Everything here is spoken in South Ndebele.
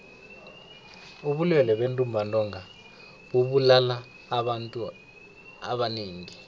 ubulwele bentumbantonga bubulala abantu abanengi tle